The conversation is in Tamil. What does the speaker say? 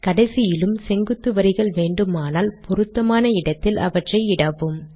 கடைசியிலும் செங்குத்து வரிகள் வேண்டுமானால் பொருத்தமான இடத்தில் அவற்றை இடவும்